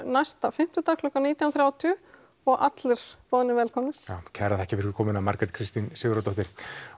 næsta fimmtudag klukkan nítján þrjátíu og allir boðnir velkomnir já kærar þakkir fyrir komuna Margrét Kristín Sigurðardóttir